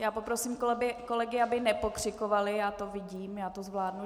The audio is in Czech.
Já poprosím kolegy, aby nepokřikovali, já to vidím, já to zvládnu.